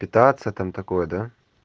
питаться там такое да